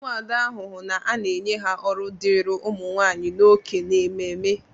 Umuada hụ na a na-enye ha ọrụ dịịrị ụmụnwaanyị na oke n'ememe.